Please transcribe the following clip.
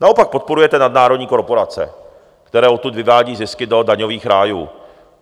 Naopak podporujete nadnárodní korporace, které odtud vyvádí zisky do daňových rájů.